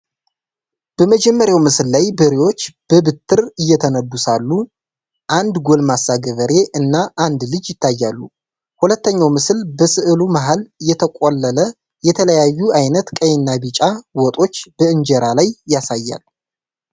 በመጀመሪያው ምስል ላይ በሬዎች በበትር እየተነዱ ሳሉ አንድ ጎልማሳ ገበሬ እና አንድ ልጅ ይታያሉ። ሁለተኛው ምስል በስዕሉ መሃል የተቆለለ የተለያዩ አይነት ቀይና ቢጫ ወጦች በእንጀራ ላይ ያሳያል።